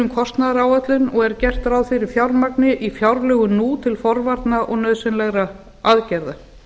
um kostnaðaráætlun og er gert ráð fyrir fjármagni í fjárlögum nú til forvarna og nauðsynlegra aðgerða